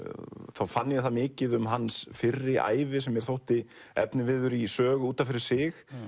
þá fann ég það mikið um hans fyrri ævi sem mér þótti efniviður í sögu út af fyrir sig